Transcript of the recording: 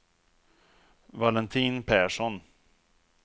Valentin Persson